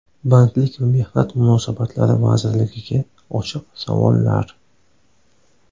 Bandlik va mehnat munosabatlari vazirligiga ochiq savollar.